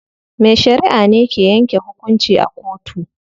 Mai shariʼa ne ke yanke hukunci a kotu.